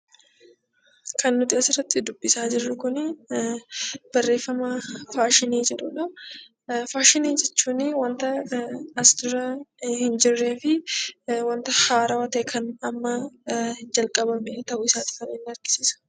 Kan nuti as irratti dubbisaa jirru kuni barreeffama 'Faashinii' jedhu dha. Faashinii jechuun wanta as dura hin jirree fi wanta haarawaa ta'e kan amma jalqabame ta'uu isaati kan inni argisiisu.